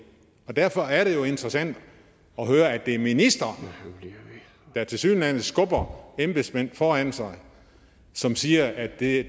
derfor er det jo interessant at høre at det er ministeren der tilsyneladende skubber embedsmænd foran sig som siger at det